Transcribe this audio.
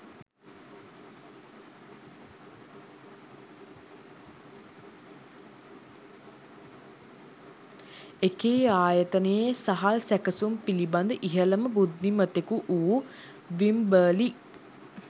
එකී ආයතනයේ සහල් සැකසුම් පිළිබඳ ඉහළම බුද්ධිමතෙකු වූ විම්බර්ලි